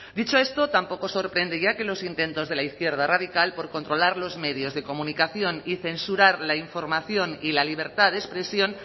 dicho esto tampoco sorprende ya que los intentos de la izquierda radical por controlar los medios de comunicación y censurar la información y la libertad de expresión